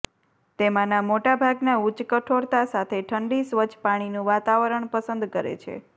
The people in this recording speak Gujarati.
તેમાંના મોટાભાગના ઉચ્ચ કઠોરતા સાથે ઠંડી સ્વચ્છ પાણીનું વાતાવરણ પસંદ કરે છે